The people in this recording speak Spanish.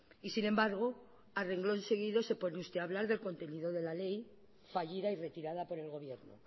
y sin embargo a renglón seguido se pone usted a hablar del contenido de la ley fallida y retirada por el gobierno